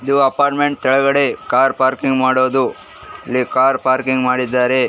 ಈ ಅಪಾರ್ಟ್ಮೆಂಟ್ ಕೆಳಗಡೆ car parking ಮಾಡೋದು ಇಲ್ಲಿ ಕಾರ್ ಪಾರ್ಕಿಂಗ್ ಮಾಡಿದಾರೆ .